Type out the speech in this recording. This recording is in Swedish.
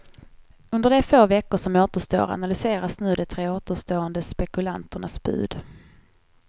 Under de få veckor som återstår analyseras nu de tre återstående spekulanternas bud.